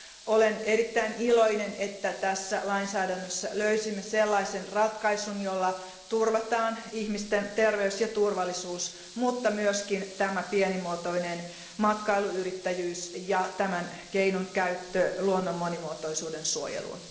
Olen erittäin iloinen, että tässä lainsäädännössä löysimme sellaisen ratkaisun, jolla turvataan ihmisten terveys ja turvallisuus, mutta myös pienimuotoinen matkailuyrittäjyys ja kyseisen keinon käyttö luonnon monimuotoisuuden suojeluun.